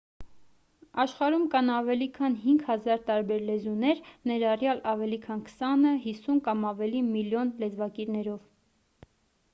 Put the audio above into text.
աշխարհում կան ավելի քան 5,000 տարբեր լեզուներ ներառյալ ավելի քան քսանը 50 կամ ավելի միլիոն լեզվակիրներով